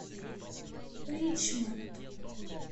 ричмонд